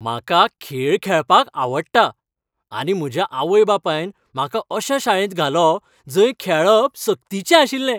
म्हाका खेळ खेळपाक आवडटा आनी म्हज्या आवय बापायन म्हाका अशा शाळेंत घालो जंय खेळप सक्तीचें आशिल्लें.